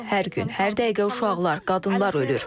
Hər gün, hər dəqiqə uşaqlar, qadınlar ölür.